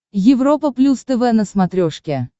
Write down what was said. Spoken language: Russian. европа плюс тв на смотрешке